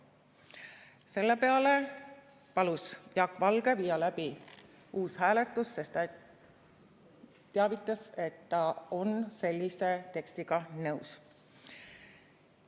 Selle peale palus Jaak Valge viia läbi uus hääletus, sest ta on sellise tekstiga nõus.